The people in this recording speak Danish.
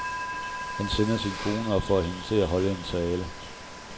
Han sender sin kone og får hende til at holde en tale.